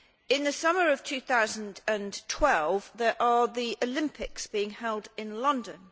In the summer of 2012, the Olympics are being held in London.